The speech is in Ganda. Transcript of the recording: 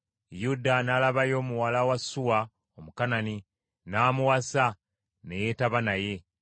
Yuda n’alabayo muwala wa Suwa, Omukanani, n’amuwasa, ne yeetaba naye,